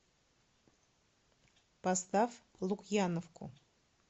поставь лукьяновку